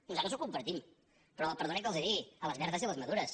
nosaltres ho compartim però perdonin que els ho digui a les verdes i a les madures